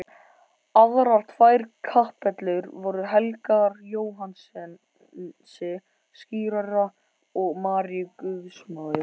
Aðrar tvær kapellur voru helgaðar Jóhannesi skírara og Maríu guðsmóður.